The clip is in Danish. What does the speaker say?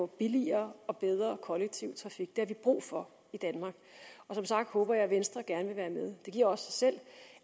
billigere og bedre kollektiv trafik det har vi brug for i danmark og som sagt håber jeg at venstre gerne vil være med det giver sig selv